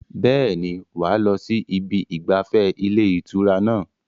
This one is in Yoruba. Bẹ́ẹ̀ni, wà á lọ sí ibi ìgbafẹ́ ilé ìtura náà